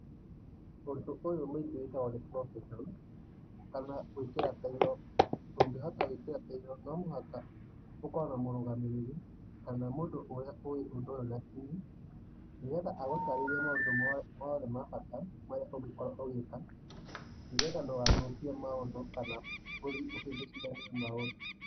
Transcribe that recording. Ũndũ ũyũ mũingĩ wĩkagwo nĩ profession kana gwĩkĩra tairũ. Ũngĩhota gwĩkĩra tairũ no mũhaka ũkorwo na mũrũgamĩrĩri kana mũndũ ũria ũi ũndũ ũyũ na kinĩ nĩgetha agũtarĩrie maũndũ mothe ma bata marĩa ũngĩkorwo ũgĩka nĩgetha ndũgathũkie maũndũ kama ũhĩngicithanie maũndũ .